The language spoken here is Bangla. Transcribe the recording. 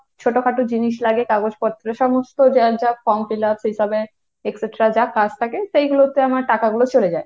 ছোটখাটো জিনিস লাগে কাগজপত্র সমস্ত যার যা form fill up সেইসবে etcetera যা কাজ থাকে সেগুলোতে আমার টাকাগুলো চলে যায়।